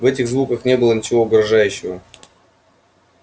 в этих звуках не было ничего угрожающего